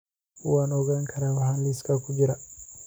Waan ogaan karaa waxa liiska ku jira